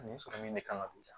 Nin sɔrɔ min de kan ka don